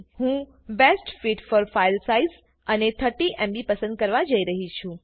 હું best fit for file size અને 30એમબી પસંદ કરવા જઈ રહી છુ